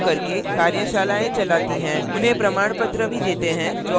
उन्हें प्रमाणपत्र भी देते हैं जो online test pass करते हैं